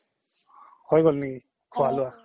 হৈ গল নেকি খোৱা লোৱা